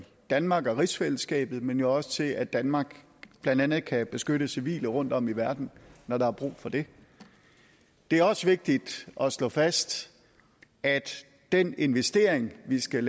danmark og rigsfællesskabet men jo også til at danmark blandt andet kan beskytte civile rundtom i verden når der er brug for det det er også vigtigt at slå fast at den investering vi skal